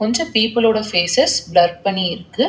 கொஞ்ச பீப்பிள் ஓட faces blur பண்ணிருக்கு.